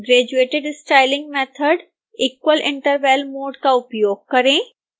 graduated styling method equal interval mode का उपयोग करें